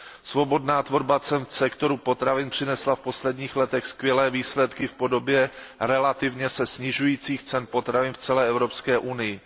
Svobodná tvorba cen v sektoru potravin přinesla v posledních letech skvělé výsledky v podobě relativně se snižujících cen potravin v celé Evropské unii.